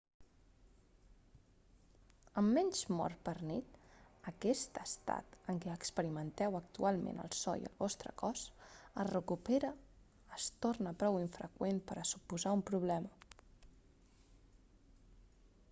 amb menys mor per nit aquest estat en què experimenteu actualment el so i el vostre cos es recupera es torna prou infreqüent per a suposar un problema